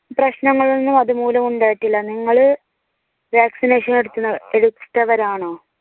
പ്രശ്നങ്ങൾ ഒന്നും അതുമൂലം ഉണ്ടായിട്ടില്ല. നിങ്ങള് vaccination എടുക്കുന്ന - എടുത്തവർ ആണോ